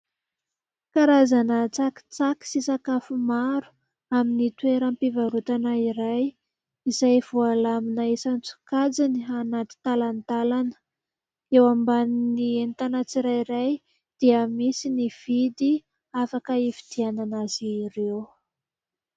Karazana tsakitsaky sy sakafo maro amin'ny toeram-pivarotana iray izay voalamina isan- tsokajiny anaty talantalana. Eo ambanin'ny entana tsirairay dia misy ny vidy afaka hifidianana azy ireo.